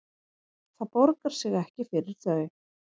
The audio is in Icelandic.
Það borgar sig ekki fyrir þau